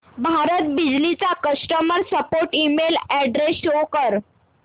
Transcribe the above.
भारत बिजली चा customer support email address show कर